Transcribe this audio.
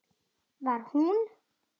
Var hún?!